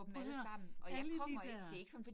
Prøv at hør, alle de dér